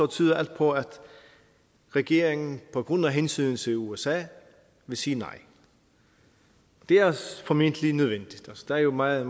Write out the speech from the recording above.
tyder alt på at regeringen på grund af hensynet til usa vil sige nej det er formentlig nødvendigt der er jo meget